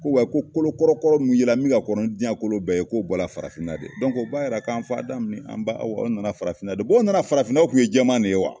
Ko wa ko kolokɔrɔkɔrɔ min yela min ka kɔrɔ ni diɲɛ kolo bɛɛ ye k'o bɔra farafinna de o b'a jira ko an fa Adamu ni an ba Awa o nana farafinna de o nana farafinna o tun ye jɛman de ye wa